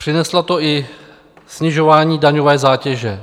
Přineslo to i snižování daňové zátěže.